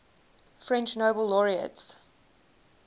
french nobel laureates